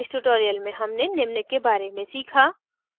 इस tutorial में हमने निम्न के बारे में सीखा